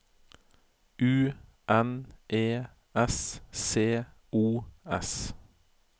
U N E S C O S